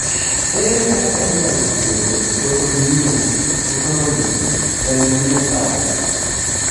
ere kaka inyal thiedhi autoimmune autonomic ganglionopathy?